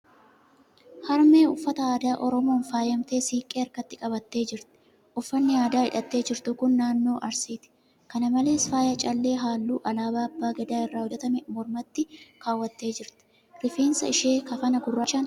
Harmee uffata aadaa Oromoon faayamtee siiqqee harkatti qabattee jirti. Uffanni aadaa hidhatte jirtu kan naannoo Arsiiti. Kana malees, faaya callee halluu alaabaa abbaa gadaa irraa hojjatame mormatti. kaawwattee jirti. Rifeensa ishee kafana gurraachaan haguugdee jirti.